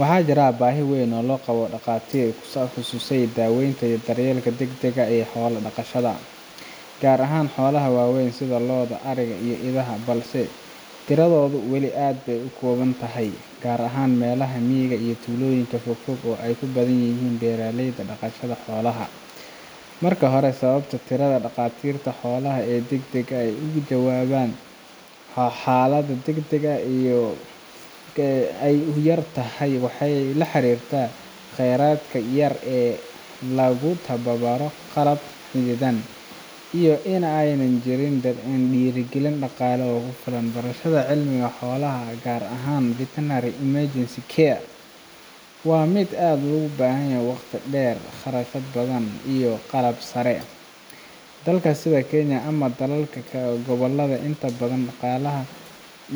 Waxaa jira baahi weyn oo loo qabo dhaqaatiirta ku takhasusay daaweynta iyo daryeelka degdegga ah ee xoolaha dhaqashada, gaar ahaan xoolaha waaweyn sida lo’da, ariga, iyo idaha, balse tiradooda wali aad bay u kooban tahay, gaar ahaan meelaha miyiga ah ama tuulooyinka fogfog ee ay ku badan yihiin beeraleyda dhaqashada xoolaha. Marka hore, sababta tirada dhaqaatiirta xoolaha ee si degdeg ah uga jawaaba xaaladaha degdegga ah ay u yar tahay waxay la xiriirtaa kheyraadka yar ee lagu tababaro, qalab xaddidan, iyo in aanay jirin dhiirrigelin dhaqaale oo ku filan. Barashada cilmiga xoolaha, gaar ahaan veterinary emergency care, waa mid u baahan waqti dheer, kharash badan, iyo qalab sare. Dalka sida Kenya ama dalalka kale ee gobolka, inta badan